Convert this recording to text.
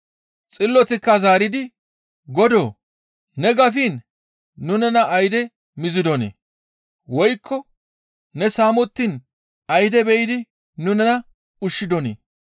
«Xillotikka zaaridi, ‹Godoo! Ne gafiin nu nena ayde mizidonii? Woykko ne saamettiin ayde be7idi nu nena ushshidonii?